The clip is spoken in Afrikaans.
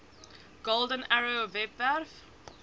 golden arrow webwerf